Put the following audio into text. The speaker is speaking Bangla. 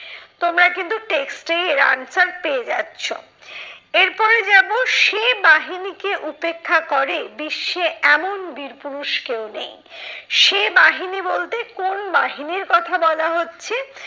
তোমরা কিন্তু text এই এর answer পেয়ে যাচ্ছ। এরপরে যাবো সে বাহিনীকে উপেক্ষা করে বিশ্বে এমন বীর পুরুষ কেউ নেই। সে বাহিনী বলতে কোন বাহিনীর কথা বলা হচ্ছে?